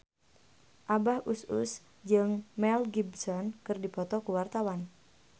Abah Us Us jeung Mel Gibson keur dipoto ku wartawan